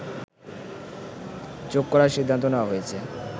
যোগ করার সিদ্ধান্ত নেওয়া হয়েছে